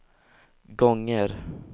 gånger